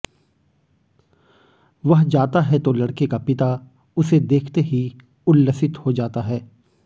वह जाता है तो लड़के का पिता उसे देखते ही उल्लसित हो जाता है